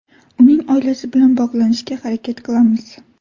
Uning oilasi bilan bog‘lanishga harakat qilamiz.